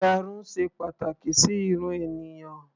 Ìyarun ṣe pàtàkì sí irun ènìyàn.